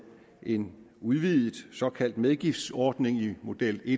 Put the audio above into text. en udvidet såkaldt medgiftsordning i model i